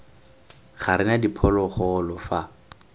ga re na diphologolo fa